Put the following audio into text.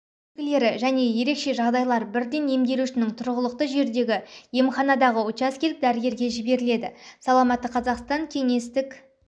белгілері және ерекше жағдайлар бірден емделушінің тұрғылықты жеріндегі емханадағы учаскелік дәрігерге жіберіледі саламатты қазақстан кеңестік